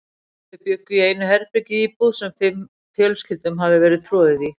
Þau bjuggu í einu herbergi í íbúð, sem fimm fjölskyldum hafði verið troðið í.